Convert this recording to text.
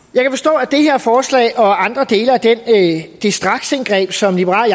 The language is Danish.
jeg forslag og andre dele af det straksindgreb som liberal